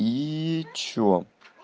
и что